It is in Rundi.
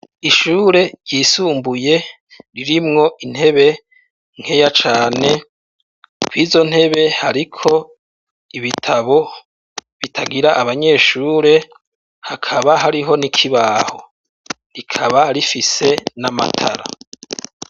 Ishure ryisumbuye ririmwo intebe nkeya cane, kw'izo ntebe hariko ibitabo bitagira abanyeshure hakaba hariho n'ikibaho rikaba rifise n'amatara.